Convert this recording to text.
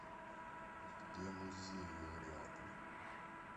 где музеи рядом